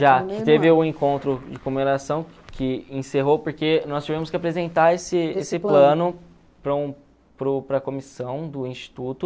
Já, que teve o encontro de comemoração que encerrou, porque nós tivemos que apresentar esse esse plano para um para o para a comissão do Instituto.